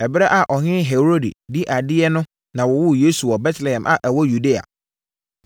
Ɛberɛ a Ɔhene Herode di adeɛ no na wɔwoo Yesu wɔ Betlehem a ɛwɔ Yudea.